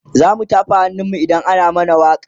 zamu tafa hannun mu idan ana mana wakan